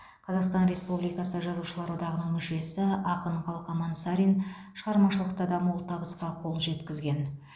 қазақстан республикасы жазушылар одағының мүшесі ақын қалқаман сарин шығармашылықта да мол табысқа қол жеткізген